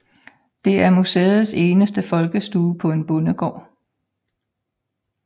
Det er museets eneste folkestue på en bondegård